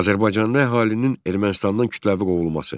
Azərbaycanlı əhalinin Ermənistandan kütləvi qovulması.